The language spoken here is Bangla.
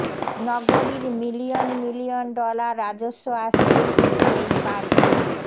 নগরীর মিলিয়ন মিলিয়ন ডলার রাজস্ব আসছে শুধু এই পার্কিং